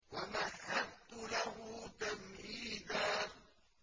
وَمَهَّدتُّ لَهُ تَمْهِيدًا